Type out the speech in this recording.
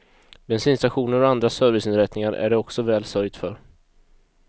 Bensinstationer och andra serviceinrättningar är det också väl sörjt för.